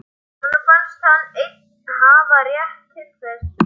Honum fannst hann einn hafa rétt til þess.